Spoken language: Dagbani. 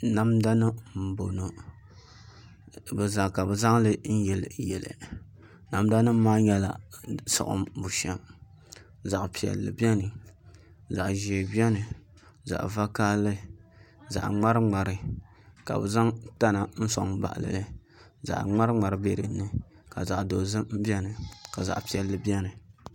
Namda nim n bɔŋɔ ka bi zaŋli n yili yili namda nim maa nyɛla siɣim bushɛm zaɣ piɛlli biɛni zaɣ ʒiɛ biɛni zaɣ vakaɣali zaɣ ŋmari ŋmari ka bi zaŋ tana n soŋ n baɣali li zaɣ ŋmari ŋmari biɛni ka zaɣ piɛlli biɛni